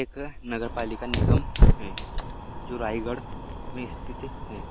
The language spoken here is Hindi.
एक नगरपालिका निगम है जो रायगढ़ मे स्थित है